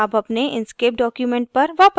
अब अपने inkscape document पर वापस आते हैं